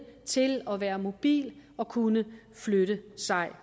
til at være mobil og kunne flytte sig